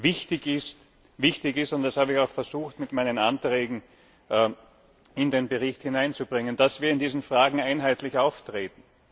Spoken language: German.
Wichtig ist und das habe ich auch versucht, mit meinen Anträgen in den Bericht hineinzubringen dass wir in diesen Fragen einheitlich auftreten.